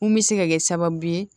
Mun bɛ se ka kɛ sababu ye